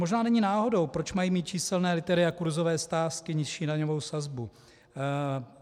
Možná není náhodou, proč mají mít číselné loterie a kurzové sázky nižší daňovou sazbu.